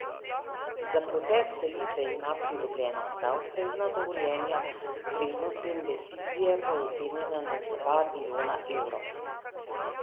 Za proces selitve ima pridobljena vsa ustrezna dovoljenja, vrednost te investicije pa je ocenjena na dva milijona evrov.